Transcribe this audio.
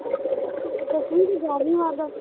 ਤੇ ਦੱਸਵੀ ਤੇ ਗਿਆਰਵੀ ਵਾਰ ਦੱਸ